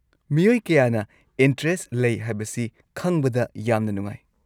ꯃꯤꯑꯣꯏ ꯀꯌꯥꯅ ꯏꯟꯇꯔꯦꯁꯠ ꯂꯩ ꯍꯥꯏꯕꯁꯤ ꯈꯪꯕꯗ ꯌꯥꯝꯅ ꯅꯨꯡꯉꯥꯏ꯫